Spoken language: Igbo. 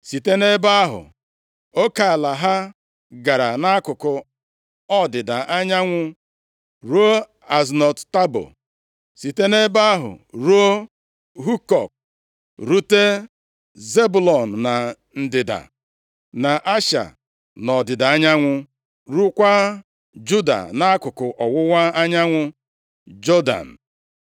Site nʼebe ahụ oke ala ha gara nʼakụkụ ọdịda anyanwụ ruo Aznot Tabo, site nʼebe ahụ ruo Hukọk, rute Zebụlọn na ndịda, na Asha nʼọdịda anyanwụ, ruokwa Juda nʼakụkụ ọwụwa anyanwụ Jọdan.